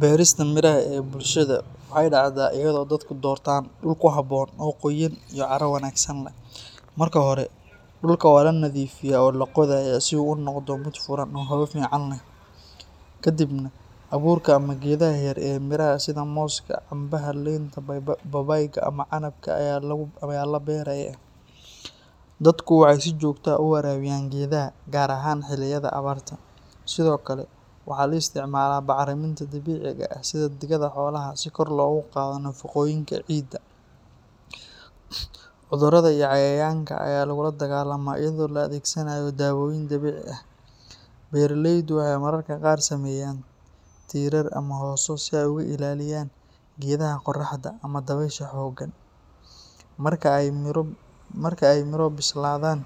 Beerista miraha ee bulshadaada waxay dhacdaa iyadoo dadku doortaan dhul ku habboon oo qoyaan iyo carro wanaagsan leh. Marka hore, dhulka waa la nadiifiyaa oo la qodayaa si uu u noqdo mid furan oo hawo fiican leh. Ka dibna abuurka ama geedaha yaryar ee miraha sida mooska, cambaha, liinta, babaayga ama canabka ayaa la beerayaa. Dadku waxay si joogto ah u waraabiyaan geedaha, gaar ahaan xilliyada abaarta. Sidoo kale, waxa la isticmaalaa bacriminta dabiiciga ah sida digada xoolaha si kor loogu qaado nafaqooyinka ciidda. Cudurrada iyo cayayaanka ayaa lagula dagaallamaa iyadoo la adeegsanayo daawooyin dabiici ah. Beeraleydu waxay mararka qaar sameeyaan tiirar ama hooso si ay uga ilaaliyaan geedaha qorraxda ama dabaysha xooggan. Marka ay miro bislaadaan,